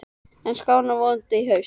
En það skánar vonandi í haust.